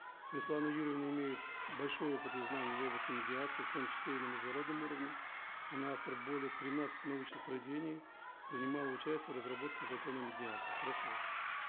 светлана юрьевна имеет большой опыт и знания в области медиации в том числе и на международном уровне она автор более тринадцати научных произведений принимала участие в разработке закона о медиации прошу вас